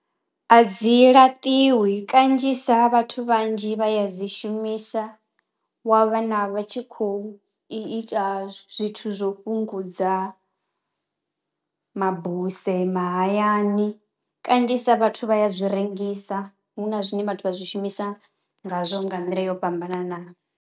A dzi laṱiwi kanzhisa vhathu vhanzhi vha ya dzi shumisa wa vhana vha tshi khou i ita zwithu zwo fhungudza mabuse mahayani. Kanzhisa vhathu vha ya zwi rengisa hu na zwine vhathu vha zwi shumisa ngazwo nga nḓila yo fhambananaho.